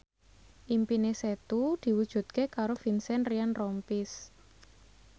impine Setu diwujudke karo Vincent Ryan Rompies